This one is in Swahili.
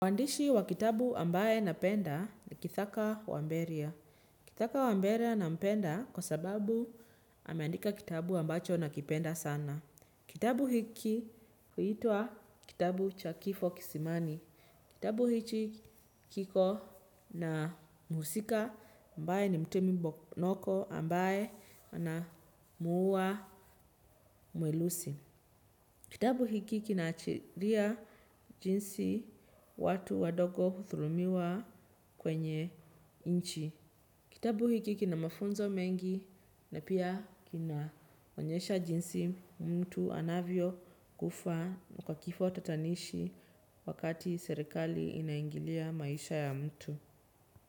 Waandishi wa kitabu ambaye napenda ni kithaka wamberia. Kitaka wamberia na mpenda kwa sababu ameandika kitabu ambacho na kipenda sana. Kitabu hiki huitwa kitabu cha kifo kisimani. Kitabu hichi kiko na muhusika ambaye ni mtemi mbonoko ambaye ana muua muelusi. Kitabu hiki kina achiria jinsi watu wadogo huthurumiwa kwenye inchi. Kitabu hiki kina mafunzo mengi na pia kina wonyesha jinsi mtu anavyo kufa kwa kifo tatanishi wakati serekali inaingilia maisha ya mtu.